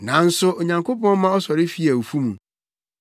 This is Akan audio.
Nanso Onyankopɔn ma ɔsɔre fii awufo mu,